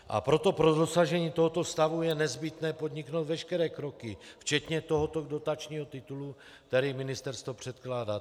A proto pro dosažení tohoto stavu je nezbytné podniknout veškeré kroky, včetně tohoto dotačního titulu, který ministerstvo předkládá.